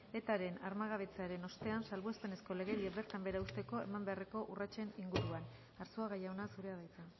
etaren armagabetzearen ostean salbuespenezko legedia bertan behera uzteko eman beharreko urratsen inguruan arzuaga jauna zurea da hitza